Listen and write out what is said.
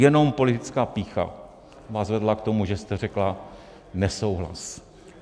Jenom politická pýcha vás vedla k tomu, že jste řekla nesouhlas!